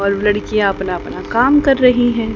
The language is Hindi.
और लड़कियां अपना अपना काम कर रही हैं।